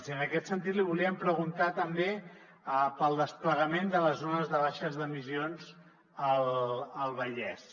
i en aquest sentit li volíem preguntar també pel desplegament de les zones de baixes emissions al vallès